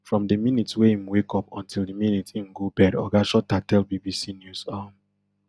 from di minute wey im wake up until di minute im go bed oga shuter tell bbc news um